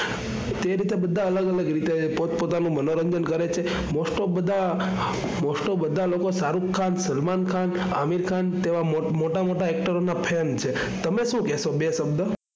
તે રીતે બધા અલગ અલગ રીતે પોત પોતાનું મનોરંજન કરે છે. Most of બધા most of બધા લોકો શાહરુખ ખાન, સલમાન ખાન, આમિર ખાન તેવા મોટા મોટા એકટરો ના fan છે. તમે શું કહેશો બે શબ્દ?